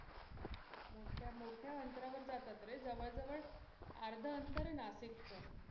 मोठ्या अंतरावर जातात रे जवळ जवळ आर्धा आंतर आहे नाशिक च.